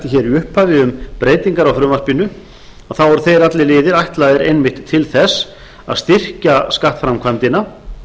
hér í upphafi um breytingar á frumvarpinu eru þeir allir liðir ætlaðir einmitt til þess að styrkja skattframkvæmdina